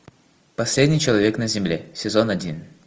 последний человек на земле сезон один